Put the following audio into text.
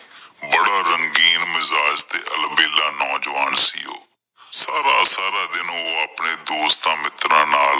ਬੜਾ ਰੰਗੀਨ ਮਿਜ਼ਾਜ ਤੇ ਅਲਬੇਲਾ ਨੌਂ ਜਵਾਨ ਸੀ ਓਹ ਸਾਰਾ ਸਾਰਾ ਦਿਨ ਓਹ ਆਪਣੇ ਦੋਸਤਾਂ ਮਿੱਤਰਾਂ ਨਾਲ